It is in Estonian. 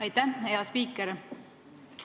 Aitäh, hea spiiker!